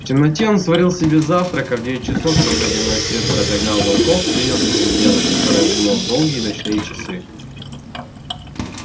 в темноте он сварил себе завтрак а в девять часов когда дневной свет разогнал волков принялся за дело которое обдумал в долгие ночные часы